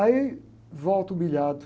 Aí, volto humilhado.